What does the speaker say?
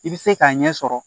I bɛ se k'a ɲɛ sɔrɔ